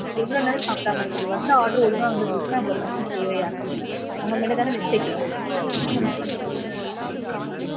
எவ்வளவு நேரம் சாப்பிடாம இருக்கறது? வந்த order ஒழுங்கா வந்திருந்துச்சுனா இவ்ளோ பிரச்சினை தேவையா சொல்லுங்க? உங்க மேல தான mistake இருக்கு.